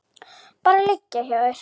Bara liggja hjá þér.